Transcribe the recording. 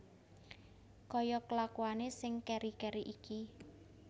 Kaya kelakuane sing keri keri iki